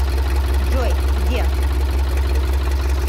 джой где